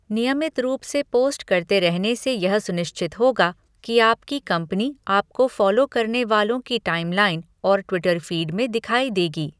नियमित रूप से पोस्ट करते रहने से यह सुनिश्चित होगा कि आपकी कंपनी आपको फॉलो करने वालों की टाइमलाइन और ट्विटर फीड में दिखाई देगी।